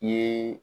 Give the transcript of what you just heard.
I ye